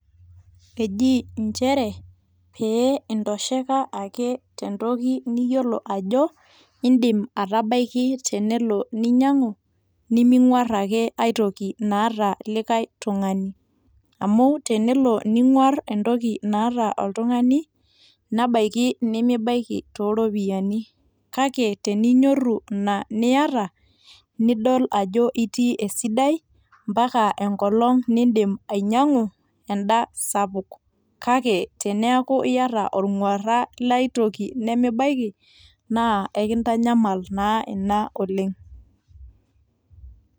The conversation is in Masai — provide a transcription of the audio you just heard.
Ejii nchere peeinto sheka tentoki niyiolo ajo indim atabaki tenelo ninyangu niming'uar ake aitoki naata likai tungani, amu tenelo ninguar entoki naata oltungani, nebaiki nimibaki tooropiyiani kake teinyoru ina niata nidol ajo itii esidai ampaka enkolong niidim ainyangu enda sapuk kake teneaku iata ornguara laitoki nimibaiki naa enkintanyamal naa ina oleng.